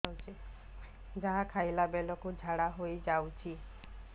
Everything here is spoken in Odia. ଯାହା ଖାଇଲା ବେଳକୁ ଝାଡ଼ା ହୋଇ ଯାଉଛି